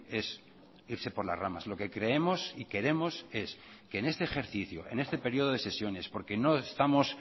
es irse por las ramas lo que creemos y queremos es que en este ejercicio en este periodo de sesiones porque no estamos